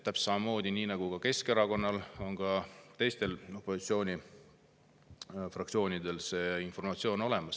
Täpselt samamoodi nagu Keskerakonnal on ka teistel opositsiooni fraktsioonidel see informatsioon olemas.